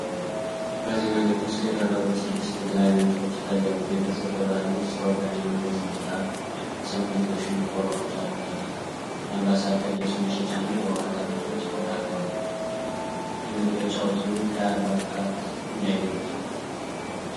በዚህ መልዕክት ውስጥ የቀረቡት ስድስት የተለያዩ ምስሎች ይታያሉ። ቤተሰብ በባህል ልብስ፣ ሰዎች በሃይማኖታዊ ሥነ-ሥርዓት፣ የሰውነት ሎሽን፣ ቆሎዎች ያሉት ተክል፣ የአምባሳደር ልብስ መሸጫና የውሃ ጠርሙሶች ተካተዋል። የመግለጫው ርዝመት ከአርባ ቃላት እንዳይበልጥ።